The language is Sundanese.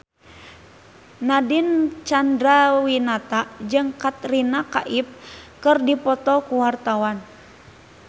Nadine Chandrawinata jeung Katrina Kaif keur dipoto ku wartawan